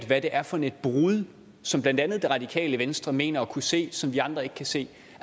hvad det er for et brud som blandt andet radikale venstre mener at kunne se som vi andre ikke kan se